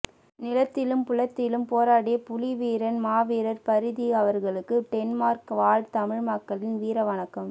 நிலத்திலும் புலத்திலும் போராடிய புலிவீரன் மாவீரர் பரிதி அவர்களுக்கு டென்மார்க் வாழ் தமிழ் மக்களின் வீரவணக்கம்